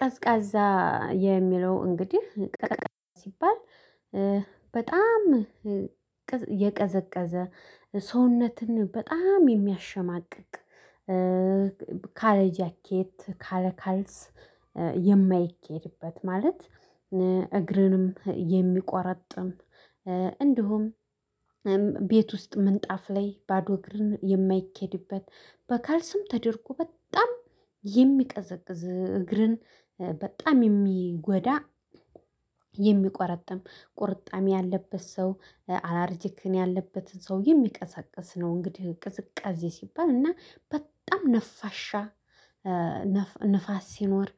ቀዝቃዛ የሚለው እንግዲህ ቀዘቀዝ ሲባል በጣም የቀዘቀዘ ሰውነትን በጣም የሚያሸማቅቅ ካለ ጃኬት ካለ ካልስ የማይኬድበት ማለት እግርንም የሚቆረጥም እንዲሁም ቤት ውስጥ ምንጣፍ ላይ ባዶ እግርን የማይኬድበት በካልስም ተደርጎ በጣም የሚቀዘቅዝ እግርን በጣም የሚጎዳ የሚቆረጥም ቁርጣሜ ያለበት ሰው አላርጂክን ያለበትን ሰው የሚቀሰቅስ ነው። እንግዲህ ቅዝቃዜ ሲባል እና በጣም ነፋሻ ነፋስ ሲኖር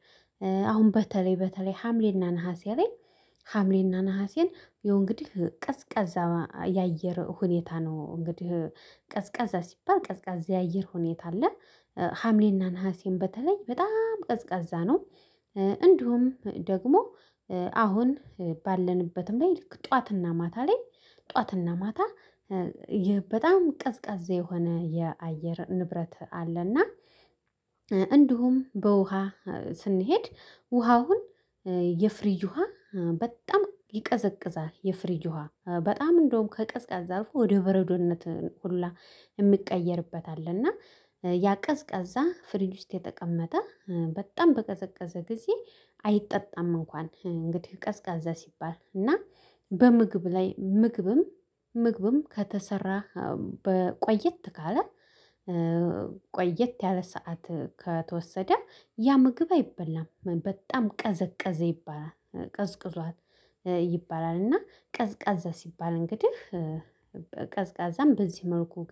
አሁን በተለይ በተለይ ሀምሌና ነሀሴ ላይ ሀምሌና ነሀሴን የእንግዲህ ቀዝቃዛ የአየር ሁኔታ ነው። እንግዲህ ቀዝቃዛ ሲባል ቀዝቃዛ የአየር ሁኔታ አለ ሀምሌና ነሀሴም በተለይ በጣም ቀዝቃዛ ነው። እንዲሁም ደግሞ አሁን ባለንበትም ላይ ልክ ጠዋትና ማታ ላይ ጠዋትና ማታ በጣም ቀዝቃዛ የሆነ የአየር ንብረት አለና። እንዲሁም በውሃ ስንሄድ ውሃ አሁን የፍሪጅ ውሃ በጣም ይቀዘቅዛል። የፍሪጅ ውሃ በጣም እንደውም ከቀዝቃዛ ዛፍ ወደ በረዶነት ሁሉ የሚቀየርበት አለ። እና ያ ቀዝቀዛ ፍሪጅ ውስጥ የተቀመጠ በጣም በቀዘቀዘ ጊዜ አይጠጣም። እንኳን እንግዲህ ቀዝቃዛ ሲባል እና በምግብ ላይ ምግብም ምግብም ከተሰራ በቆየት ካለ ቆየት ያለ ሰዓት ከተወሰደ ያ ምግብ አይበላም በጣም ቀዘቀዘ ይባላል ቀዝቅዟል ይባላል። እና ቀዝቃዛ ሲባል እንግዲህ ቀዝቃዛን በዚህ መልኩ